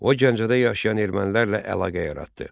O, Gəncədə yaşayan ermənilərlə əlaqə yaratdı.